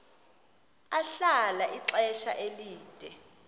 ahlala ixesha elide